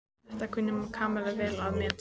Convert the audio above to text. Það kunni Kamilla vel að meta.